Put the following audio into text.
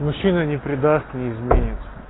мужчина не предаст не изменит